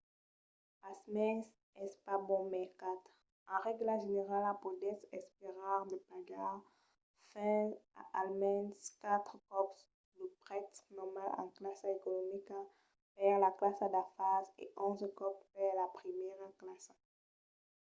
pasmens es pas bon mercat: en règla generala podètz esperar de pagar fins a almens quatre còps lo prètz normal en classa economica per la classa d'afars e onze còps per la primièra classa!